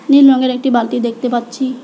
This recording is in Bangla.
নীল রংয়ের একটি বালতি দেখতে পাচ্ছি।